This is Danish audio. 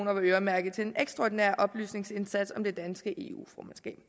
var øremærket til en ekstraordinær oplysningsindsats om det danske eu formandskab